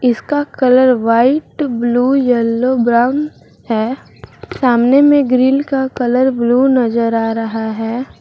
इसका colour white blue yellow brown है सामने में ग्रिल का कलर ब्लू नजर आ रहा है।